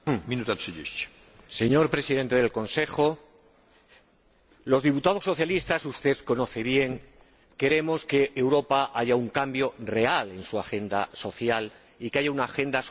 Señor Presidente de la Comisión, los diputados socialistas —usted lo sabe bien— queremos que en Europa haya un cambio real en su agenda social y que haya una agenda social renovada.